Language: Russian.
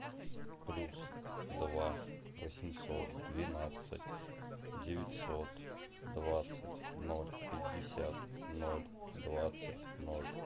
плюс два восемьсот двенадцать девятьсот двадцать ноль пятьдесят ноль двадцать ноль